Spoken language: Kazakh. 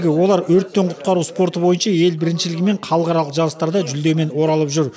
олар өрттен құтқару спорты бойынша ел біріншілігі мен халықаралық жарыстарда жүлдемен оралып жүр